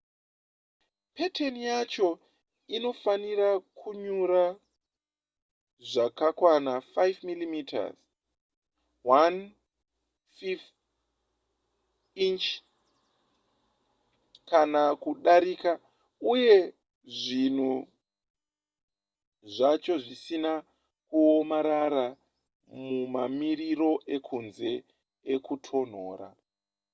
peteni yacho inofanira kunyura zvakakwana 5mm 1/5 inch kana kudarika uye zvinhu zvacho zvisina kuomarara mumamiriro ekunze ekutonhora